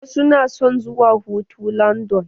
Wasu na son zuwa hutu landan.